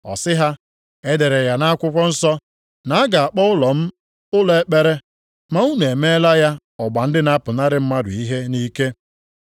Ọ sị ha, “E dere ya nʼakwụkwọ nsọ ‘na a ga-akpọ ụlọ m ụlọ ekpere’; ma unu emeela ya ‘ọgba ndị na-apụnara mmadụ ihe nʼike.’ + 19:46 \+xt Aịz 56:7; Jer 7:11\+xt* ”